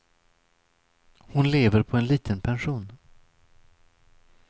Hon lever på en liten pension.